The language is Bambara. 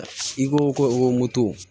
I ko ko moto